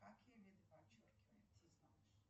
какие виды подчеркивания ты знаешь